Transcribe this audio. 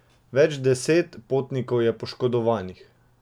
Več deset potnikov je poškodovanih.